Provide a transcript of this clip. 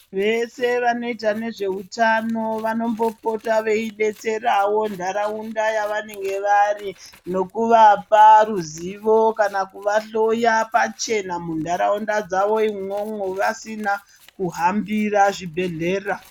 Vese vanoita nezvehutano vanombopota veidetserawo ntaraunda yavanenge vari ,nokuvapa ruzivo kana kuvahloya pachena munharaunda dzavo imwomwo, vasina kuhambira zvibhedhlera.